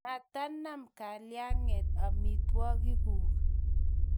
Matanam kalyanget amitwogikguk